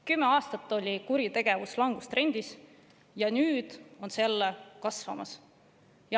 Kümme aastat oli kuritegevus langustrendis ja nüüd see jälle kasvab.